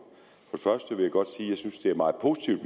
først vil jeg godt sige at jeg synes det er meget positivt